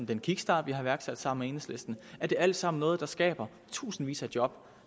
den kickstart vi har iværksat sammen med enhedslisten er det alt sammen noget der skaber tusindvis af job